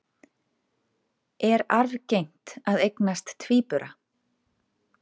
Er arfgengt að eignast tvíbura?